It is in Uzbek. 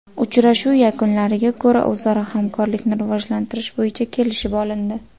Uchrashuv yakunlariga ko‘ra o‘zaro hamkorlikni rivojlantirish bo‘yicha kelishib olindi.